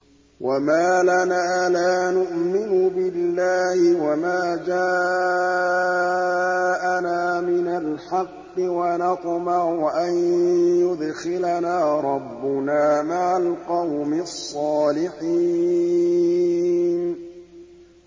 وَمَا لَنَا لَا نُؤْمِنُ بِاللَّهِ وَمَا جَاءَنَا مِنَ الْحَقِّ وَنَطْمَعُ أَن يُدْخِلَنَا رَبُّنَا مَعَ الْقَوْمِ الصَّالِحِينَ